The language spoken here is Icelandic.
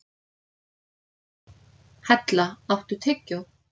Hella, áttu tyggjó?